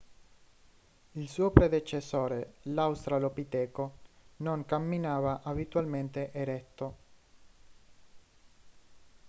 il suo predecessore l'australopiteco non camminava abitualmente eretto